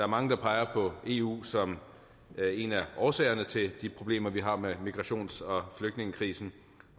mange peger på eu som en af årsagerne til de problemer vi har med migrations og flygtningekrisen